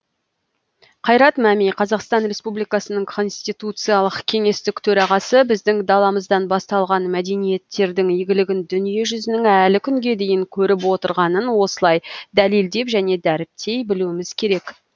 қайрат мәми қазақстан республикасының конституциялық кеңестік төрағасы біздің даламыздан басталған мәдениеттердің игілігін дүниежүзінің әлі күнге дейін көріп отырғанын осылай дәлелдеп және дәріптей білуіміз керек